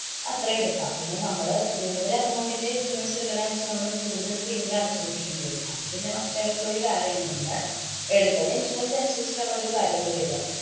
അത്രയും എടുക്കാം. പിന്നെ നമ്മള് കൂടുതല്‍ amount ന്‍റെ insurance ഇടുക്കണം വച്ചാല്‍ നമ്മള് കൂടുതല് premium അടച്ചോണ്ടിരിക്കേണ്ടി വരും. അത് പിന്നെ must ആയിട്ടുള്ളൊരു കാര്യാണ്. നമ്മടെ എടുക്കുന്ന insurance അനുസരിച്ചിട്ടാണ് ഓരോ കാര്യങ്ങള് വരിക.